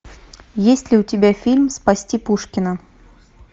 есть ли у тебя фильм спасти пушкина